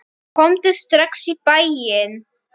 Komdu strax í bæinn.